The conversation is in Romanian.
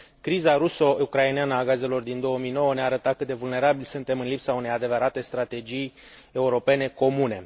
Criza ruso ucraineană a gazelor din 2009 ne a arătat cât de vulnerabili suntem în lipsa unei adevărate strategii europene comune.